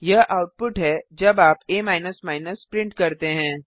यह आउटपुट है जब आप आ प्रिंट करते हैं